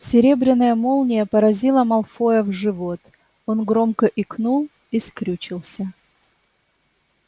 серебряная молния поразила малфоя в живот он громко икнул и скрючился